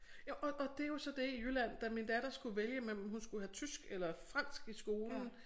Ja og og det jo så det i Jylland da min datter skulle vælge mellem hun skulle have tysk eller fransk i skolen